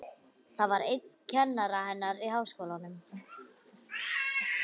Það var einn kennara hennar í Háskólanum.